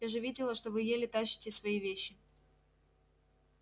я же видела что вы еле тащите свои вещи